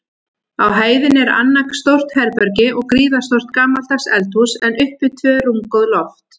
Á hæðinni er annað stórt herbergi og gríðarstórt gamaldags eldhús, en uppi tvö rúmgóð loft.